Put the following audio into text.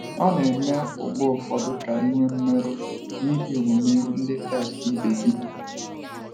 Ọ̀ na - eme mgbe ụfọdụ ka i nwee mmerụ n’ihi omume ndị Kraịst ibe gị?